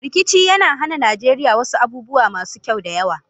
Rikici ya hana Najeriya wasu abubuwa masu kyau da yawa.